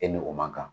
E ni o man kan